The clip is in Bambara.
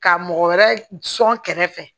Ka mɔgɔ wɛrɛ sɔn kɛrɛ fɛ